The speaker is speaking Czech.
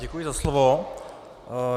Děkuji za slovo.